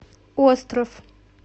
остров